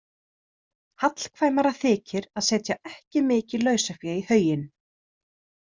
Hallkvæmara þykir að setja ekki mikið lausafé í hauginn.